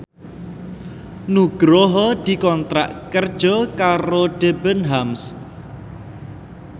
Nugroho dikontrak kerja karo Debenhams